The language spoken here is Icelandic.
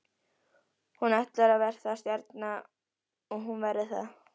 Hún ætlar að verða stjarna og hún verður það.